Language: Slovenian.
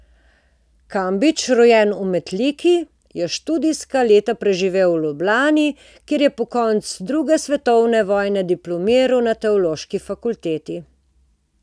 Kambič, rojen v Metliki, je študijska leta preživel v Ljubljani, kjer je po koncu druge svetovne vojne diplomiral na Teološki fakulteti.